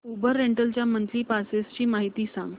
Uber rental च्या monthly passes ची माहिती सांग